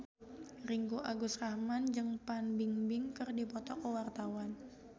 Ringgo Agus Rahman jeung Fan Bingbing keur dipoto ku wartawan